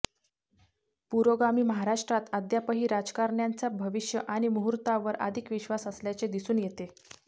पुरोगामी महाराष्ट्रात अद्यापही राजकारण्यांचा भविष्य आणि मुहूर्तावर अधिक विश्वास असल्याचे दिसून येते